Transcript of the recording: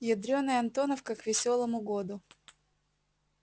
ядрёная антоновка к весёлому году